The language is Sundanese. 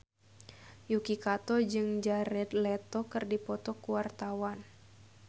Yuki Kato jeung Jared Leto keur dipoto ku wartawan